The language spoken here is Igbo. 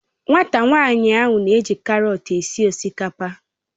Nwata nwanyi ahu n'eji karọt esi osikapa.